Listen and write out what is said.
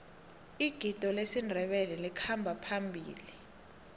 igido lesindebele likhamba phambili